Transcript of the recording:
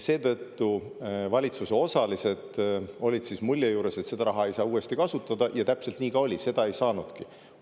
Seetõttu valitsuse osalistel oli mulje, et seda raha ei saa uuesti kasutada, ja täpselt nii ka oli: ei saanudki.